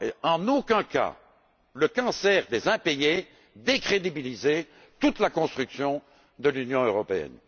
en aucun cas, le cancer des impayés décrédibiliser toute la construction de l'Union européenne.